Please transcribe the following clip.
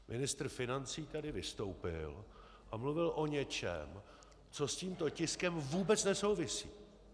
Ministr financí tady vystoupil a mluvil o něčem, co s tímto tiskem vůbec nesouvisí.